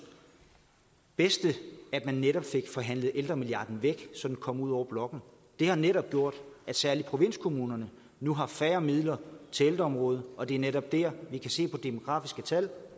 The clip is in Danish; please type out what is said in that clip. bedste at man netop fik forhandlet ældremilliarden væk så den kom ud over blokken det har netop gjort at særlig provinskommunerne nu har færre midler til ældreområdet og det er netop der vi kan se på demografiske tal